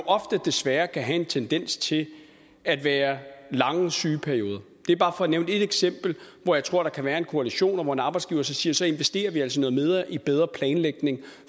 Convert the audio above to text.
desværre ofte kan have en tendens til at være lange sygeperioder det er bare for at nævne et eksempel hvor jeg tror der kan være en koalition og hvor en arbejdsgiver så siger at så investerer vi altså i bedre i bedre planlægning